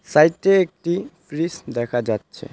সাইটে একটি ফ্রিজ দেখা যাচ্ছে.